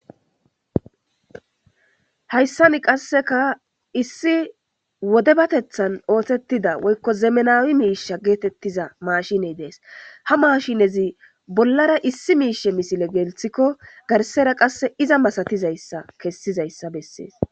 Hayissan qassekka issi wodabeteththann oththetifs woyikko zemenawu mishshi getettiza mashineyi Desi .haa mashshinezi bollara issi mishs,he missile geliththikko ,garissera qase izza masetiyassa beses.